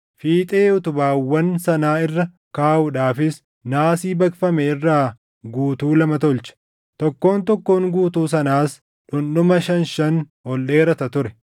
Fiixee utubaawwan sanaa irra kaaʼuudhaafis naasii baqfame irraa guutuu lama tolche; tokkoon tokkoon guutuu sanaas dhundhuma shan shan ol dheerata ture.